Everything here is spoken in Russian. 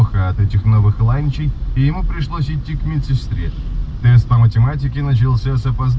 по математике